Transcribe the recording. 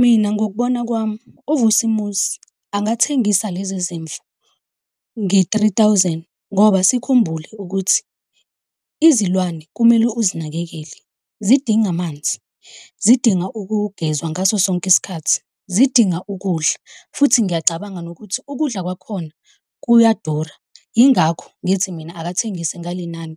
Mina ngokubona kwami, uVusimuzi angathengisa lezi zimvu nge-three thousand ngoba sikhumbule ukuthi izilwane kumele uzinakekele. Zidinga amanzi, zidinga ukugezwa ngaso sonke isikhathi, zidinga ukudla, futhi ngiyacabanga nokuthi ukudla kwakhona kuyadura. Yingakho ngithi mina akathengise ngale nani